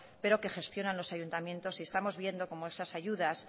pero que gestionan los ayuntamientos estamos viendo como esas ayudas